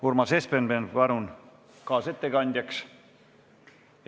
Urmas Espenberg, palun kaasettekandjaks!